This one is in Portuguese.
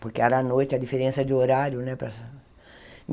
Porque era à noite, a diferença de horário, né para?